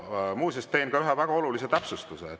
Muuseas, teen ka ühe väga olulise täpsustuse.